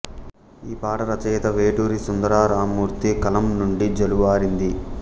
ఈ పాట రచయిత వేటూరి సుందరరామ్మూర్తి కలం నుండి జాలువారింది